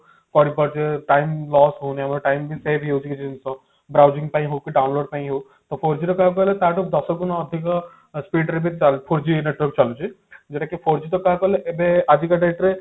କରିପାରୁଛେ time loss ହଉନି ଆମେ time ବି save ହେଇଯାଉଛି ଜିନିଷ browsing ପାଇଁ ହଉ କି download ପାଇଁ ହଉ ତ four G ରେ କଣ କହିଲେ ତା ଠୁ ଦଶଗୁଣ speed ରେ four G network ଚାଲୁଛି ଯୋଉଟା four G ଟା କହିବାକୁ ଗଲେ ଏବେ ଆଜିକା date ରେ